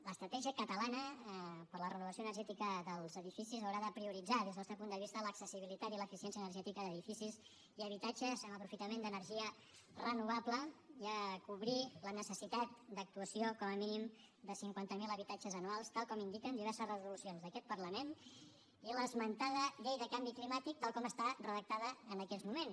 l’estratègia catalana per a la renovació energètica dels edificis haurà de prioritzar des del nostre punt de vista l’accessibilitat i l’eficiència energètica d’edificis i habitatges amb aprofitament d’energia renovable i cobrir la necessitat d’actuació com a mínim de cinquanta mil habitatges anuals tal com indiquen diverses resolucions d’aquest parlament i l’esmentada llei de canvi climàtic tal com està redactada en aquests moments